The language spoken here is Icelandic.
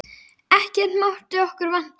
Ekkert mátti okkur vanta.